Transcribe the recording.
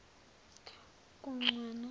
kuncwaba